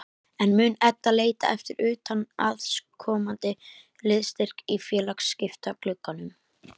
En mun Edda leita eftir utanaðkomandi liðsstyrk í félagsskiptaglugganum?